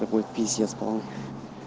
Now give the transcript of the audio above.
такой писец полный